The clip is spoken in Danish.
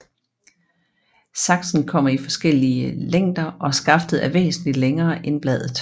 Saksen kommer i forskællige længder og skaftet er væsentligt længer end bladet